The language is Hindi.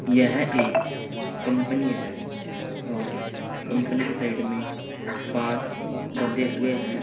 यह एक कंपनी है और कंपनी के साइड में बांस बंधे हुए हैं।